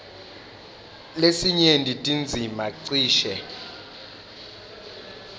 lesinyenti tindzima cishe